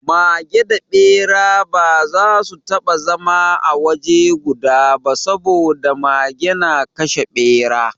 Mage da Ɓera ba za su taɓa zama a waje guda ba saboda Mage na kashe Ɓera.